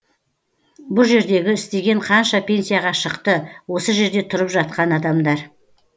бұ жердегі істеген қанша пенсияға шықты осы жерде тұрып жатқан адамдар